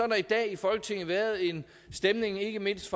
der i dag i folketinget været en stemning ikke mindst